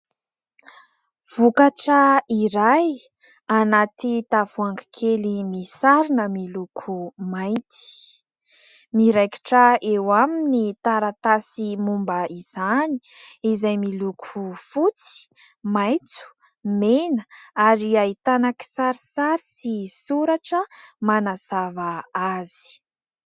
Vokatra iray anaty tavoahangy kely misarona miloko mainty. Miraikitra eo aminy ny taratasy momba izany izay miloko fotsy, maitso, mena ary ahitana kisarisary sy soratra manazava azy.